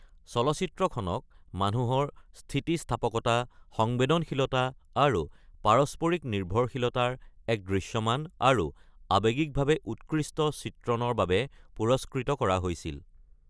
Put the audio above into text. চলচ্চিত্ৰখনক "মানুহৰ স্থিতিস্থাপকতা, সংবেদনশীলতা আৰু পাৰস্পৰিক নিৰ্ভৰশীলতাৰ এক দৃশ্যমান আৰু আৱেগিকভাৱে উৎকৃষ্ট চিত্ৰণ"ৰ বাবে পুৰস্কৃত কৰা হৈছিল।